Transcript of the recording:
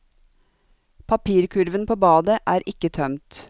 Papirkurven på badet er ikke tømt.